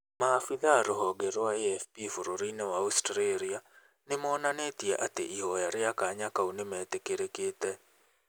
Maabitha rohonge rwa AFP bũrũri-inĩ wa Australia, nĩ monanĩtie ati ihoya ria kanya kau nĩ metĩkĩrĩkĩte.